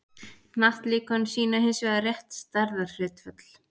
hnattlíkön sýna hins vegar rétt stærðarhlutföll